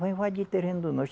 Vai invadir terreno do